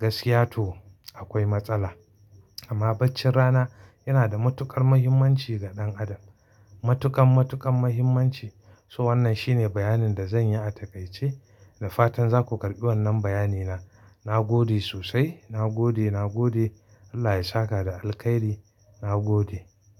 gaskiya to akwai matsala. Amma baccin rana yana da matuƙar muhimmanci ga ɗan adam. Matuƙan, matuƙan muhimmanci. So wannan shine bayanin da zan yi a taƙaice. Da fatan za ku karɓi wannan bayani na. Na gode sosai. Na gode, na gode. Allah ya saka da alkairi. Na gode.